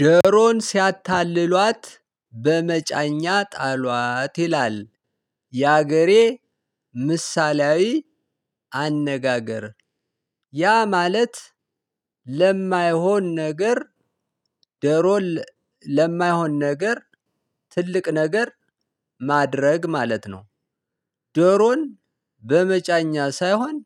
ዶሮን ሲያታልሏት በመጫኛ ጣሏት ይላል የሀገሬ ምሳሌያዊ አነጋገር ያ ማለት ለማይሆን ነገር ዶሮን ለማይሆን ነገር ትልቅ ነገር ማድረግ ማለት ነው። ዶሮን በመጫኛ ሳይሆን